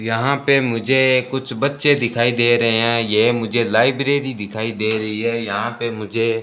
यहां पे मुझे कुछ बच्चे दिखाई दे रहे हैं यह मुझे लाइब्रेरी दिखाई दे रही है यहां पे मुझे --